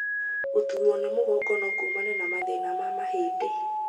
Gũtuurwo nĩ mũgongo no kũmane na mathĩna ma mahĩndĩ.